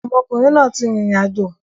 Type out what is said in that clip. Ọmọkùnrin náà ti rìnrìn àjò.